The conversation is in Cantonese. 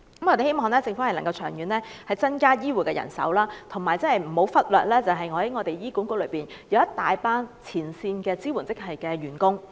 我們希望政府長遠能增加醫護人手，而且，不要忽略在醫院管理局內一大群前線支援職系的員工。